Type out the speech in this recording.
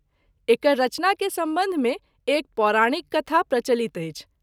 एकर रचना के संबंध मे एक पौराणिक कथा प्रचलित अछि।